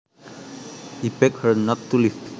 He begged her not to leave